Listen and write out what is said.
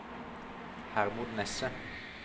Hermod Nesset